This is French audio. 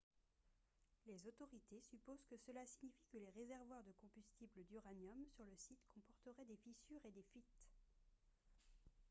les autorités supposent que cela signifie que les réservoirs de combustible d'uranium sur le site comporteraient des fissures et des fuites